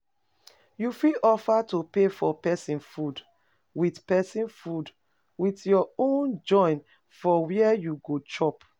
You fit offer to pay for persin food with persin food with your own join for where you go chop